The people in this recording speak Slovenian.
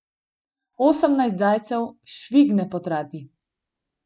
Osemnajst zajcev švigne po trati.